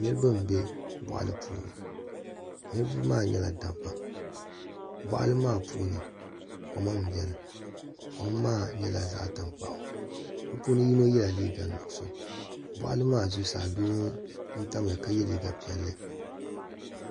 niriba m-be bɔɣili puuni niriba maa nyɛla dabba bɔɣili maa puuni koma m-beni koma maa nyɛla zaɣ' tankpaɣu bɛ puuni yino yela liiga nuɣiso bɔɣili maa zuɣusaa doo n-tam ya ka ye liiga piɛlli.